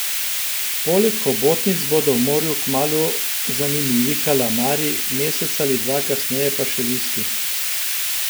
Poleg hobotnic bodo v morju kmalu zanimivi kalamari, mesec ali dva kasneje pa še listi.